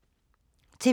TV 2